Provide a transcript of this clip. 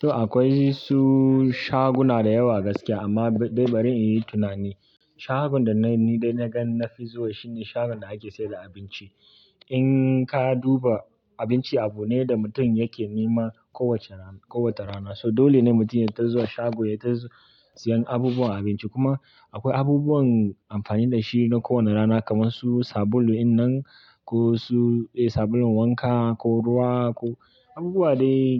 To akwai su shaguna da yawa gaskiya amma dai bari in yi tunani. Shagon da na yi, da na gan na fi zuwa shine shagon da ake sayar da abinci. In ka duba abinci abu ne da mutum yake nema kowacce rana, kowace rana. So dole ne mutum yata zuwa shago, ya ta siyan abubuwan abinci. Kuma akwai abubuwan amfani da shi na kowane rana kamar su sabulu in nan ko su, eh sabulun wanka ko ruwa ko abubuwa dai